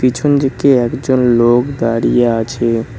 পেছন দিকে একজন লোক দাঁড়িয়ে আছে।